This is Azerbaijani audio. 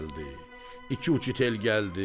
İki uçitel gəldi.